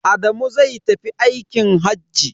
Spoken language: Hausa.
Adamu zai tafi aikin hajji.